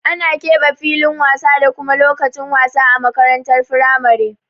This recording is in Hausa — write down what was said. Ana keɓe filin wasa da kuma lokacin wasa a makarantar firamare.